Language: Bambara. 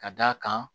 Ka d'a kan